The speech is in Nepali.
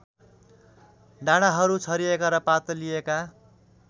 डाँडाहरू छरिएका र पातलिएका